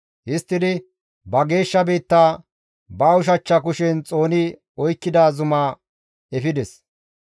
Histtidi ba geeshsha biitta, ba ushachcha kushen xooni oykkida zuma efides.